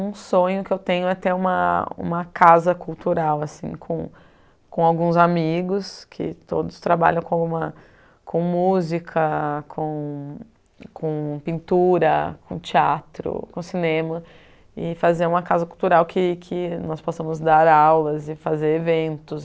Um sonho que tenho é ter uma uma casa cultural assim com com alguns amigos, que todos trabalham com uma com música, com com pintura, com teatro, com cinema, e fazer uma casa cultural que que nós possamos dar aulas e fazer eventos.